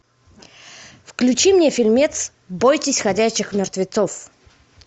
включи мне фильмец бойтесь ходячих мертвецов